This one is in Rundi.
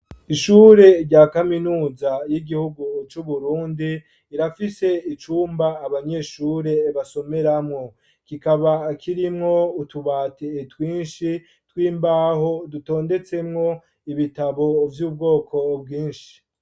Ishure rya kaminuza y'igihugu c'Uburundi irafise icumba abanyeshure basomeramwo, kikaba kirimwo utubati twinshi tw'imbaho dutondetsemwo ibitabo vy'ubwoko bwinshi.